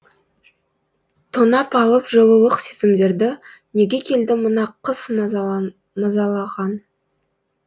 тонап алып жылулық сезімдерді неге келді мына қыс мазалаған